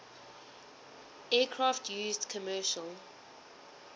aircraft used commercial